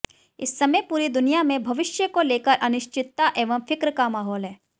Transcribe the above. इस समय पूरी दुनिया में भविष्य को लेकर अनिश्चितता एवं फ़िक्र का माहौल है